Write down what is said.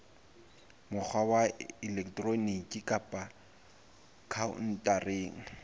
mokgwa wa elektroniki kapa khaontareng